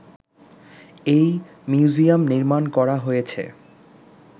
এই মিউজিয়াম নির্মাণ করা হয়েছে